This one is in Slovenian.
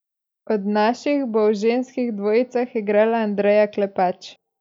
Od naših bo v ženskih dvojicah igrala Andreja Klepač.